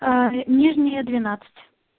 нижняя двенадцать